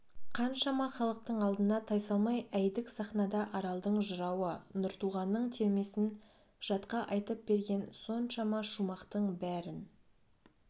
қаншама халықтың алдына тайсалмай әйдік сахнада аралдың жырауы нұртуғанның термесін жатқа айтып берген соншама шумақтың бәрін